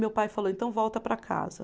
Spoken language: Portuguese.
Meu pai falou, então volta para casa.